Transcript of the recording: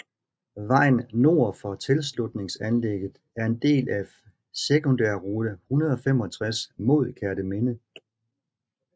Vejen nord for tilslutningsanlægget er en del af sekundærrute 165 mod Kerteminde